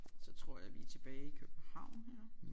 Så tror jeg vi er tilbage i København her